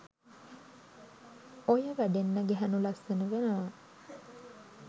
ඹය වැඩෙන් ගැහැනු ලස්සන වෙනවා.